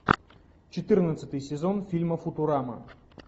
четырнадцатый сезон фильма футурама